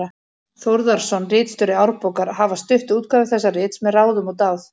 Þórðarson, ritstjóri Árbókar, hafa stutt útgáfu þessa rits með ráðum og dáð.